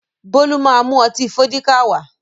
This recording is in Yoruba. Bólú má mú ọtí Fọ́díkà wá